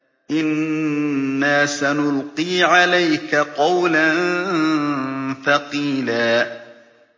إِنَّا سَنُلْقِي عَلَيْكَ قَوْلًا ثَقِيلًا